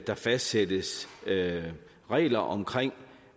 der fastsættes regler regler om